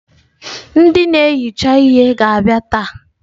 Ndị na-ehicha ihe ha ga-abịa taa?